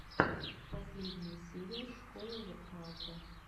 последняя серия школы воркаута